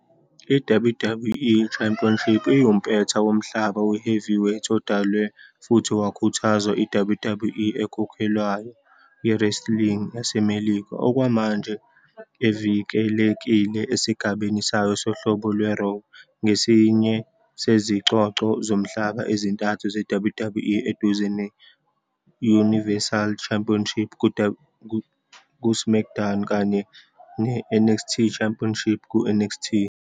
I-WWE Championship iwumpetha womhlaba we-heavyweight odalwe futhi wakhuthazwa i-WWE ekhokhelwayo ye-wrestling yaseMelika, okwamanje evikelekile esigabeni sayo sohlobo lwe-Raw. Ngesinye sezicoco zomhlaba ezintathu ze-WWE, eduze ne-Universal Championship ku-SmackDown kanye ne-NXT Championship ku-NXT.